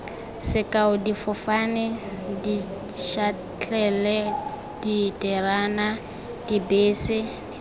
sekao difofane dišatlelle diterena dibese